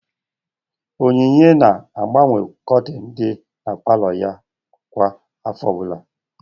Onyinye na-agbanwe kortin dị n'palo ya kwa afọ ọbụla